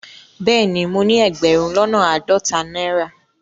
Bẹẹni, mọ ni ẹgbérùn lọ́nà aádọ́tà naira.